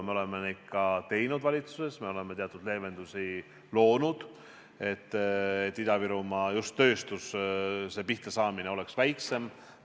Me oleme seda ka valitsuses teinud, me oleme teatud leevendusi loonud, et Ida-Virumaal just tööstuse pihtasaamine oleks väiksem.